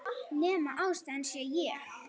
Nema ástæðan sé ég.